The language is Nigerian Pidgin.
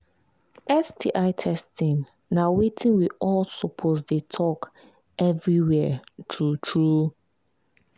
sti testing na watin we all suppose they talk everywhere true true